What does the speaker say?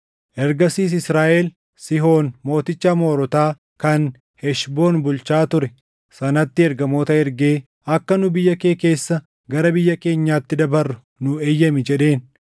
“Ergasiis Israaʼel Sihoon mooticha Amoorotaa kan Heshboon bulchaa ture sanatti ergamoota ergee, ‘Akka nu biyya kee keessa gara biyya keenyaatti dabarru nuu eeyyami’ jedheen.